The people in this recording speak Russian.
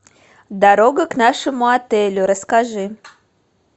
дорога к нашему отелю расскажи